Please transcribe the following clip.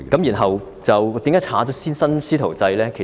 然後，為甚麼會刪去新"師徒制"呢？